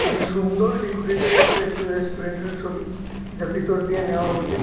খুবই সুন্দর ডেকোরেটেড একটা রেট্টু রেস্টুরেন্টের ছবি যা ভেতর দিয়ে নেওয়া হইসে।